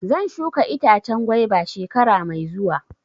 Zan shuka itacen gwaiba shekara mai zuwa.